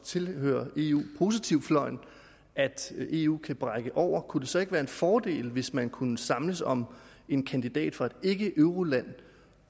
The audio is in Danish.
tilhører eu positiv fløjen at eu kan brække over kunne det så ikke være en fordel hvis man kunne samles om en kandidat fra et ikkeeuroland